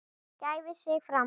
gæfi sig fram.